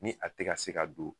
Ni a ti ga se ka don